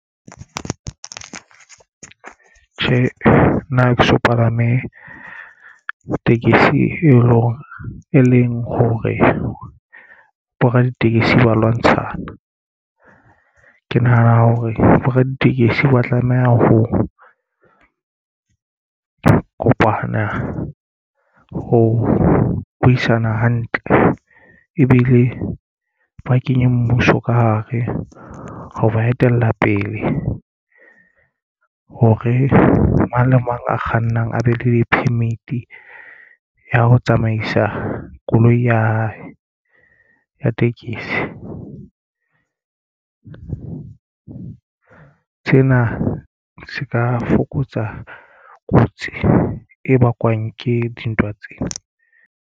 Tjhe, nna ha ke so palame tekesi e leng hore bo raditekesi ba lwantshana ke nahana hore bo raditekesi ba tlameha ho kopana ho buisana hantle ebile ba kenye mmuso ka hare ho ba etella pele hore mang le mang a kgannang a be le permit ya ho tsamaisa koloi ya hae ya tekesi. Sena se ka fokotsa kotsi e bakwang ke dintwa tsena.